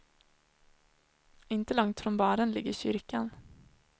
Inte långt från baren ligger kyrkan.